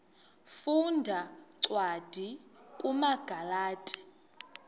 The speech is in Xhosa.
funda cwadi kumagalati